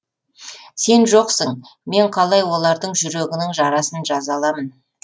сен жоқсын мен қалай олардың жүрегінің жарасын жаза аламын